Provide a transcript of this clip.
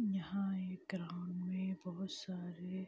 यहाँ एक ग्राउंड में बहुत सारे